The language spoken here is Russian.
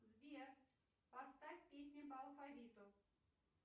сбер поставь песни по алфавиту